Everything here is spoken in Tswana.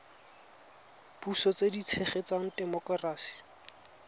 puso tse di tshegetsang temokerasi